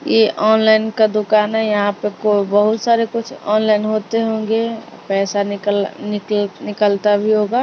ये ऑनलाइन का दुकान है यहां पर को बहुत सारे कुछ ऑनलाइन होते होंगे पैसा निकल निकलत निकलता भी होगा--